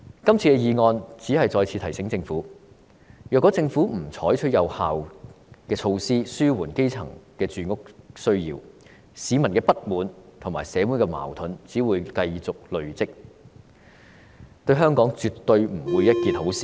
今次議案只是再次提醒政府，如果政府不採取有效措施紓緩基層的住屋需要，市民的不滿和社會矛盾只會繼續累積，對香港絕對不是一件好事。